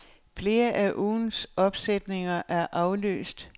Flere af ugens opsætninger er aflyst.